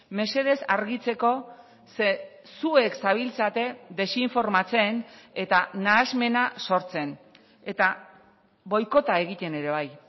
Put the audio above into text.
mesedez argitzeko ze zuek zabiltzate desinformatzen eta nahasmena sortzen eta boikota egiten ere bai